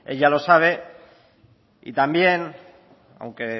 ya lo sabe y también aunque